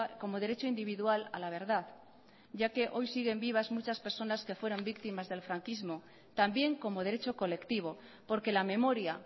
como derecho individual a la verdad ya que hoy siguen vivas muchas personas que fueran víctimas del franquismo también como derecho colectivo porque la memoria